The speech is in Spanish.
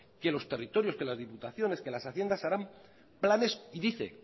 que los territorios que las diputaciones que las haciendas harán planes y dice